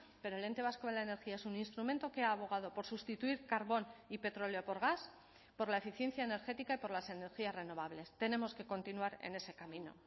pero el ente vasco de la energía es un instrumento que ha abogado por sustituir carbón y petróleo por gas por la eficiencia energética y por las energías renovables tenemos que continuar en ese camino